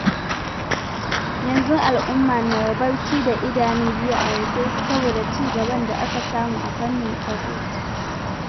Yanzu al'umma na barci da idanu biyu a rufe saboda cigaban da aka samu a fannin tsaro.